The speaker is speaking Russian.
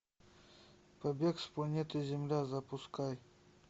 побег с планеты земля запускай